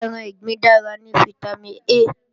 Ẹran ìgbín dára ní fítámìn A